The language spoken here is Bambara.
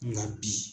Nka bi